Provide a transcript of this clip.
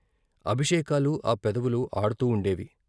అభిషేకాలు ఆ పెదవులు, ఆడుతూ ఉండేవి.